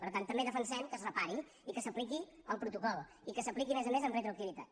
per tant també defensem que es repari i que s’apliqui el protocol i que s’apliqui a més a més amb retroactivitat